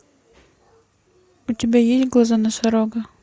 у тебя есть глаза носорога